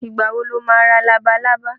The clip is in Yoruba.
Ìgbà wo lo ma ra labalábá?